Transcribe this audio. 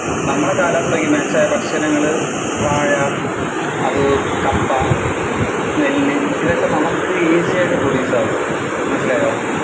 നമ്മുടെ കാലാവസ്ഥയ്ക്ക് match ആയ ഭക്ഷണങ്ങള് വാഴ അത് കപ്പ നെല്ല് ഇതൊക്കെ നമുക്ക് easy ആയിട്ട് produce ആവും മനസ്സിലായോ.